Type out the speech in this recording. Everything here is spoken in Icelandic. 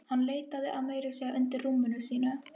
Hann leitaði meira að segja undir rúminu sínu.